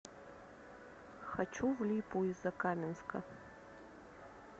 хочу в липу из закаменска